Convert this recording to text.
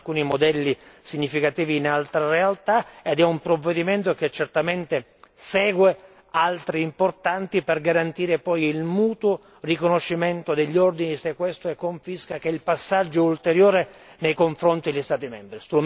Vi sono alcuni modelli significativi in altre realtà ed è un provvedimento che certamente segue altri provvedimenti importanti, per poi garantire il mutuo riconoscimento degli ordini di sequestro e confisca, che è il passaggio ulteriore nei confronti degli Stati membri.